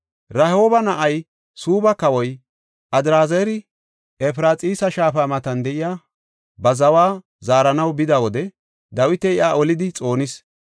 Rehooba na7ay, Suubba kawoy, Adraazari Efraxiisa shaafa matan de7iya ba zawa zaaranaw bida wode Dawiti iya olidi xoonis.